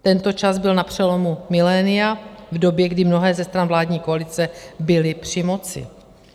Tento čas byl na přelomu milénia v době, kdy mnohé ze stran vládní koalice byly při moci.